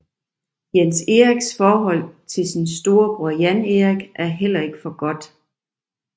Jens Eriks forhold til sin storebror Jan Erik er heller ikke for godt